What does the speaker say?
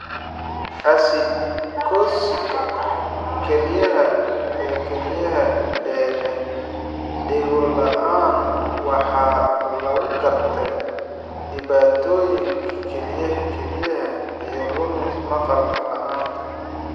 Acidosiska kelyaha ee kalyaha ee leh dhego la'aan waxaa lagu gartaa dhibaatooyinka kelyaha (kelyaha) iyo lumis maqal la'aanta dareenka.